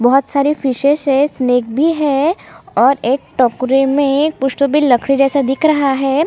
बहोत सारे फिशेस है स्नेक भी है और एक टोकरी में कुछ तो भी लकड़ी जैसा दिख रहा है।